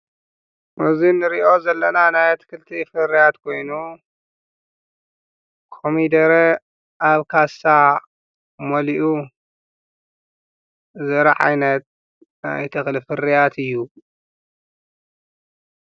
በዙን ርእዮ ዘለና ናይ ትክልቲ ፍርያት ጐይኑ ኮሚደረ ኣብ ካሳ ሞሊኡ ዘረዓይነት ናይተኽል ፍርያት እዩ።